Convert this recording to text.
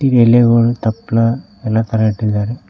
E ಎಲೆಗಳು ತಪ್ಪಲ ಎಲ್ಲಾ ತರ ಇಟ್ಟಿದಾರೆ.